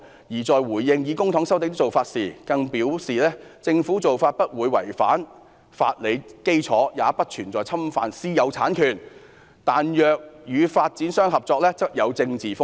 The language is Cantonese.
"她在回應以公帑收地的做法時更表示："政府做法不會違反法理基礎，也不存在侵犯私有產權，但若與發展商合作則有政治風險。